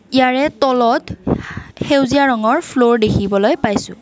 ইয়াৰে তলত সেউজীয়া ৰঙৰ ফ্লৰ দেখিবলৈ পাইছোঁ।